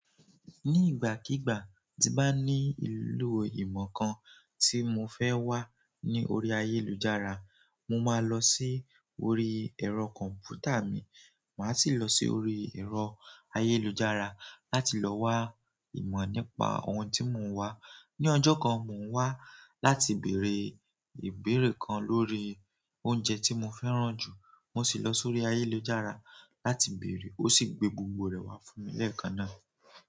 Ní ìgbàkígbà tí n bá ní ìlò ìmọ̀ kan tí mo fẹ́ wá ní orí ayélujára, mo máa lọ sí orí ẹ̀rọ kọ̀npútà mi. Màá sì lọ sí orí ẹ̀rọ ayélujára láti lọ wá ìmọ̀ nípa ohun tí mo ń wá. Ni ọjọ́ kan, mò ń wá láti bèèrè ìbéèrè kan lórí oúnjẹ tí mo fẹ́ràn jù, mo sì lọ sórí ayélujára láti bèèrè. Ó sì gbé gbogbo rẹ̀ wá fún mi lẹ́ẹ̀kan náà.